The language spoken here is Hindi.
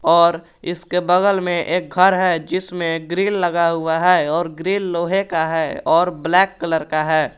और इसके बगल में एक घर है जिसमे ग्रील लगा हुआ है और ग्रील लोहे का है और ब्लैक कलर का है।